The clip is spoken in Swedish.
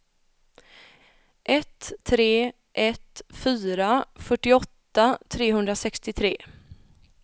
ett tre ett fyra fyrtioåtta trehundrasextiotre